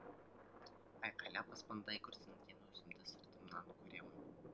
айқайлап аспандай күрсінген өзімді сыртымнан көремін